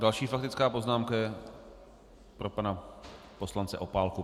Další faktická poznámka je pro pana poslance Opálku.